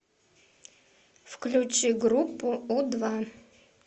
включи группу у два